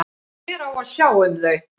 Hver á að sjá um þau?